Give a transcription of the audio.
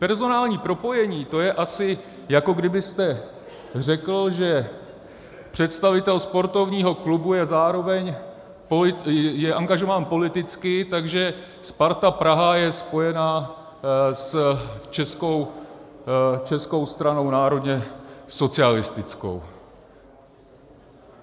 Personální propojení, to je asi, jako kdybyste řekl, že představitel sportovního klubu je zároveň angažován politicky, takže Sparta Praha je spojená s Českou stranou národně socialistickou.